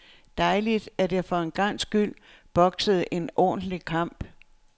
Dejligt, at jeg for en gangs skyld boksede en ordentlig kamp.